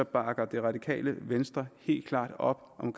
bakker det radikale venstre helt klart op om